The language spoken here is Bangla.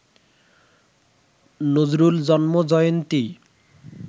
নজরুল জন্ম জয়ন্তী